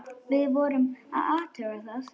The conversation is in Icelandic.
Við vorum að athuga það.